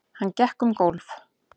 Hann gekk um gólf.